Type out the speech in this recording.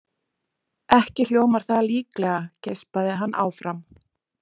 Ekki hljómar það líklega, geispaði hann áfram.